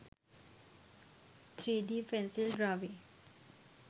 3d pencil drawing